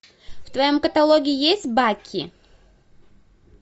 в твоем каталоге есть баки